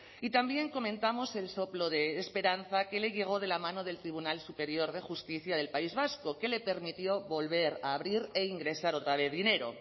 y también comentamos el soplo de esperanza que le llegó de la mano del tribunal superior de justicia del país vasco que le permitió volver a abrir e ingresar otra vez dinero